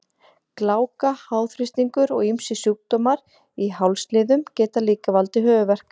Gláka, háþrýstingur og ýmsir sjúkdómar í hálsliðum geta líka valdið höfuðverk.